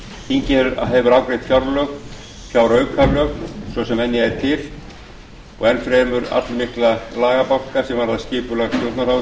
þingið hefur afgreitt fjárlög fjáraukalög svo sem venja er til og enn fremur allmikla lagabálka sem varða skipulag stjórnarráðsins